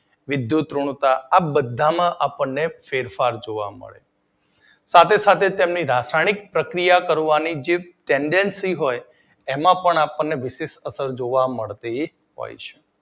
વિદ્યુત ઋણતા આ બધા માં આપડને ફેરફાર જોવા મળે છે સાથે સાથે તેમની રાસાયણિક પ્રક્રિયા કરવાની જે ટેન્ડેન્સી હોય જેમાં આપડને વિદ્યુત અસર જોવા મળે છે